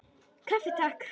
Kaffi, Takk!